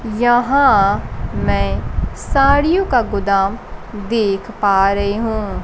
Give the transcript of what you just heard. यहां मैं साड़ियों का गोदाम देख पा रही हूं।